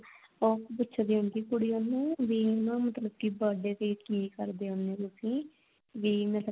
ਉਹ ਪੁੱਛਦੀ ਹੁੰਦੀ ਆ ਕੁੜੀ ਉਹਨੂੰ ਵੀ ਹਨਾ ਮਤਲਬ ਕੀ birthday ਤੇ ਕੀ ਕਰਦੇ ਹੁੰਨੇ ਹੋ ਤੁਸੀਂ ਵੀ ਮੈਂ ਤਾਂ ਕਦੇ